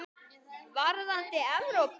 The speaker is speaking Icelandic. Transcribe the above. Varðandi Evrópu?